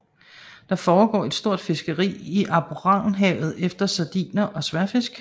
Der foregår et stort fiskeri i Alboranhavet efter sardiner og sværdfisk